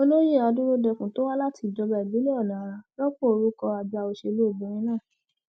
olóyè adúródenkún tó wá láti ìjọba ìbílẹ ọnàara rọpò orúkọ àgbà òṣèlú obìnrin náà